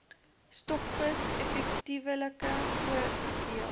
stokvis effektiewelik verdeel